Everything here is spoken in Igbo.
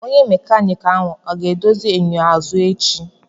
Onye mekaniki ahụ ọ ga-edozi enyo azụ echi?